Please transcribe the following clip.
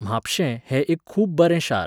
म्हापशें हें एक खूब बरें शार.